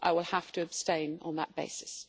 I will have to abstain on that basis.